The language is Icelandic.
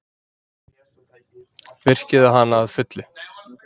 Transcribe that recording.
Virkjuðu hana að fullu.